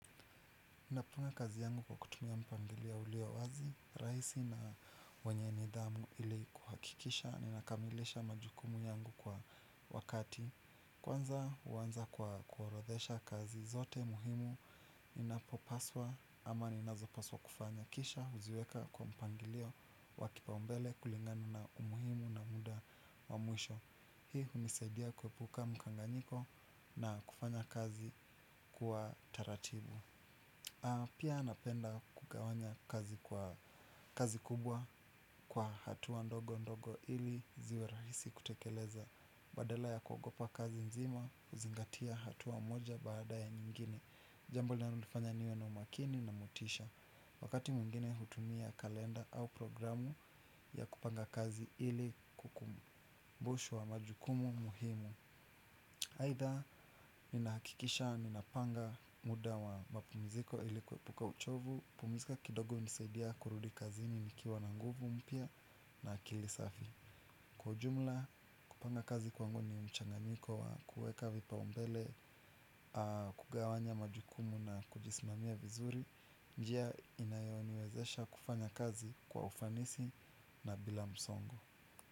Ninapanga kazi yangu kwa kutumia mpangilio ulio wazi, rahisi na wenye nidhamu ili kuhakikisha ninakamilisha majukumu yangu kwa wakati. Kwanza huanza kwa kuorodhesha kazi zote muhimu. Ninapo paswa ama ninazo paswa kufanya kisha huziweka kwa mpangilio wa kipaumbele kulingana na umuhimu na muda wa mwisho. Hii hunisaidia kuepuka mkanganyiko na kufanya kazi kwa taratibu. Pia napenda kugawanya kazi kubwa kwa hatua ndogo ndogo ili ziwe rahisi kutekeleza. Badala ya kuogopa kazi nzima huzingatia hatua moja baada ya nyingine. Jambo na nilifanya niwe na umakini na motisha. Wakati mwingine hutumia kalenda au programu ya kupanga kazi ili kukumbushwa majukumu muhimu aidha, ninahakikisha, ninapanga muda wa mapumiziko ilikuepuka uchovu. Pumizika kidogo nisaidia kurudi kazini nikiwa na nguvu mpya na akili safi. Kwa jumla, kupanga kazi kwangu ni mchanganiko wa kuweka vipaumbele, kugawanya majukumu na kujisimamia vizuri. Njia inayoniwezesha kufanya kazi kwa ufanisi na bila msongo.